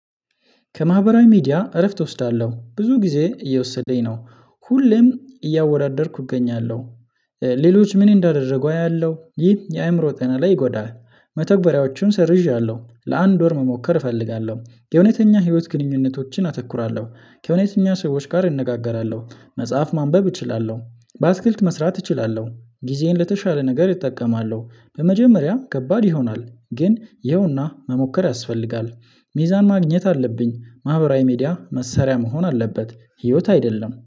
ከማህበራዊ ሚዲያ እረፍት እወስዳለሁ ብዙ ጊዜ እየወሰደኝ ነው ሁሌም እያወዳደርኩ እገኛለሁ ሌሎች ምን እንዳደረጉ አያለሁ ይህ የአእምሮ ጤና ላይ ይጎዳል። መተግበሪያዎቹን ሰርዣለሁ ለአንድ ወር መሞከር እፈልጋለሁ የእውነተኛ ህይወት ግንኙነቶችን አተኩራለሁ። ከእውነተኛ ሰዎች ጋር እንነጋገራለሁ መጽሐፍ ማንበብ እችላለሁ። አትክልት መስራት እችላለሁ ጊዜዬን ለተሻለ ነገር እጠቀማለሁ በመጀመሪያ ከባድ ይሆናል ግን ይኸውና መሞከር ያስፈልጋል። ሚዛን ማግኘት አለብኝ ማህበራዊ ሚዲያ መሰሪያ መሆን አለበት። ህይወት አይደለም